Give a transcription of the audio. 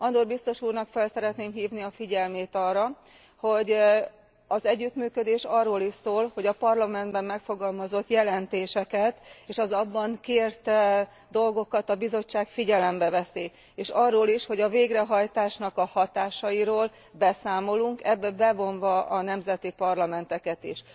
Andor biztos úrnak fel szeretném hívni a figyelmét arra, hogy az együttműködés arról is szól, hogy a Parlamentben megfogalmazott jelentéseket és az abban kért dolgokat a Bizottság figyelembe veszi, és arról is, hogy a végrehajtás hatásairól beszámolunk, bevonva a nemzeti parlamenteket is.